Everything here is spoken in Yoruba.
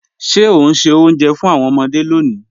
Ṣẹ o n ṣẹ́ ọ̀unjẹ́ fún awọn ọmọde lónì?